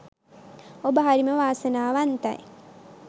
ඔබ හරිම වාසනාවන්තයි